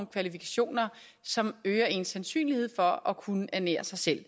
kvalifikationer som øger ens sandsynlighed for at kunne ernære sig selv